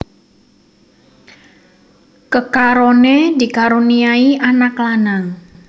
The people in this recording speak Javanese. Kekaroné dikaruniai anak lanang